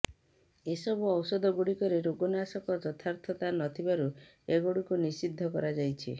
ଏସବୁ ଔଷଧ ଗୁଡ଼ିକରେ ରୋଗନାଶକ ଯଥାର୍ଥତା ନଥିବାରୁ ଏଗୁଡ଼ିକୁ ନିଷିଦ୍ଧ କରାଯାଇଛି